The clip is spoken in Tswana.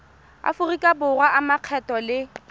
aforika borwa a makgetho le